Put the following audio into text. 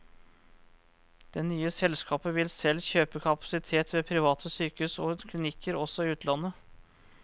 Det nye selskapet vil selv kjøpe kapasitet ved private sykehus og klinikker, også i utlandet.